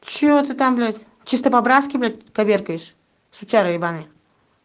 чего ты там блять чисто по-братски коверкаешь сучара ебанный